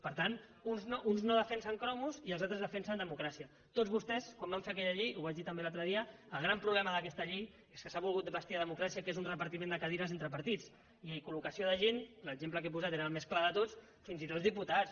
per tant uns no defensen cromos i els altres defensen democràcia tots vostès quan van fer aquella llei ho vaig dir també l’altre dia el gran problema d’aquesta llei és que s’ha volgut vestir de democràcia el que és un repartiment de cadires entre partits i col·locació de gent l’exemple que he posat era el més clar de tots fins i tot diputats